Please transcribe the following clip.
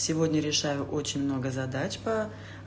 сегодня решаю очень много задач по